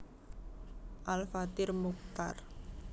Al Fathir Muchtar